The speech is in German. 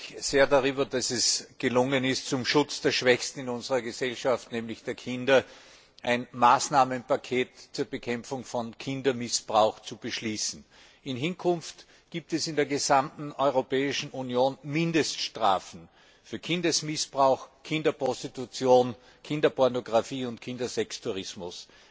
Ich freue mich sehr darüber, dass es gelungen ist, zum Schutz der Schwächsten in unserer Gesellschaft, nämlich der Kinder, ein Maßnahmenpaket zur Bekämpfung von Kindesmissbrauch zu beschließen. In Zukunft gibt es in der gesamten Europäischen Union Mindeststrafen für Kindesmissbrauch, Kinderprostitution, Kinderpornographie und Kindersextourismus.